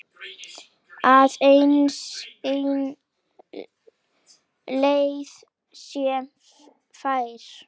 Aðeins ein leið sé fær.